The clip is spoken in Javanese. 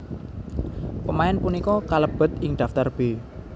Pemain punika kalèbèt ing Daftar B